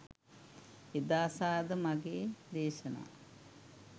එදා සහ අද මගෙ දේශනා